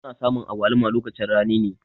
Ana samun agwaluma lokacin rani ne.